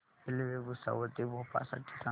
railway Bhusawal ते भोपाळ साठी सांगा